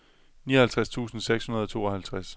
nioghalvtreds tusind seks hundrede og tooghalvtreds